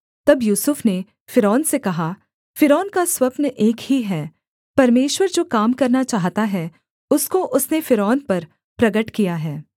तब यूसुफ ने फ़िरौन से कहा फ़िरौन का स्वप्न एक ही है परमेश्वर जो काम करना चाहता है उसको उसने फ़िरौन पर प्रगट किया है